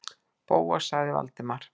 Bóas- sagði Valdimar.